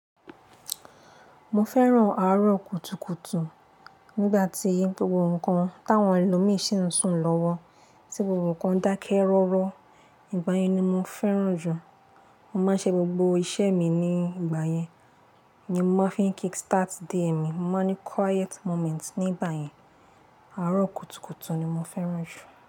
Mo fẹ́ràn àárọ̀ kùtùkùtù. Nígbà tí gbogbo nǹkan táwọn ẹlòmí ṣí ń sùn lọ́wọ́, tí gbogbo nǹkan dákẹ́ rọ́rọ́, ìgbà yẹn ni mo fẹ́ràn jù. Mo máa ń ṣe gbogbo iṣẹ́ mi ní ìgbà yẹn. Ni mo máa ń fi kick start day mi. Mo máa ń ní quiet moment ní gbà yẹn. Àárọ̀ kùtùkùtù ni mo fẹ́ràn jù.